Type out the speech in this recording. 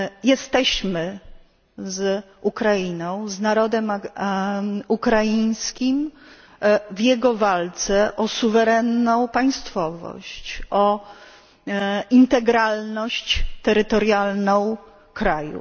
Jesteśmy z Ukrainą, z narodem ukraińskim, w jego walce o suwerenną państwowość, o integralność terytorialną kraju.